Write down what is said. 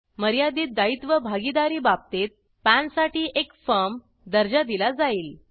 मर्यादित दायित्व भागीदारी बाबतीत पॅनसाठी एक फर्म दर्जा दिला जाईल